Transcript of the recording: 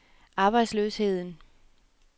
arbejdsløsheden